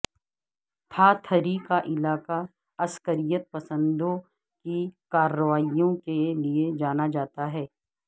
تھاتھری کا علاقہ عسکریت پسندوں کی کارروائیوں کے لیے جانا جاتا ہے